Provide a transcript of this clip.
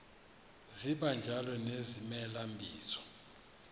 sibanjalo nezimela bizo